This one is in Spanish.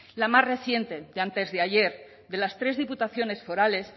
la más reciente de antes de ayer de las tres diputaciones forales